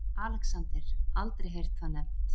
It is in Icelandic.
ALEXANDER: Aldrei heyrt það nefnt.